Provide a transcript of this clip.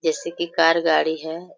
जैसे की कार गाड़ी है ।